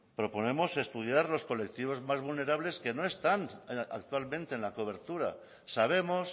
proponemos estudiar los colectivos más vulnerables que no están actualmente en la cobertura sabemos